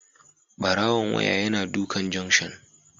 Barawon waya yana dukan junction